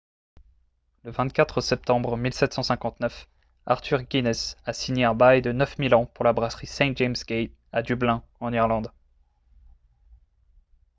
le 24 septembre 1759 arthur guinness a signé un bail de 9 000 ans pour la brasserie st james' gate à dublin en irlande